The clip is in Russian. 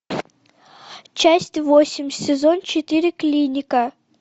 часть восемь сезон четыре клиника